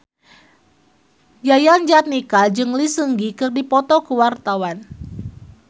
Yayan Jatnika jeung Lee Seung Gi keur dipoto ku wartawan